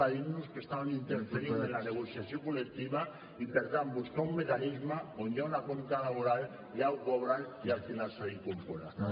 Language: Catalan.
a dir nos que estàvem interferint en la negociació col·lectiva i per tant buscar un mecanisme on hi ha un acompte laboral ja ho cobren i al final s’ha d’incorporar